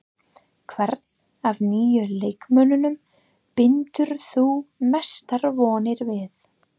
Hvern af nýju leikmönnunum bindur þú mestar vonir við?